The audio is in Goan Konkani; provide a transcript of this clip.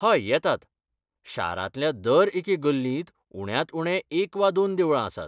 हय, येतात. शारांतल्या दर एके गल्लींत उण्यांत उणें एक वा दोन देवळां आसात.